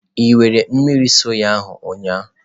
Ị were mmiri soya ahụ ụnyahụ?